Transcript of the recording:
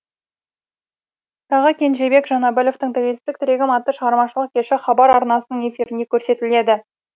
тағы кенжебек жанәбіловтің тәуелсіздік тірегім атты шығармашылық кеші хабар арнасының эфирінде көрсетіледі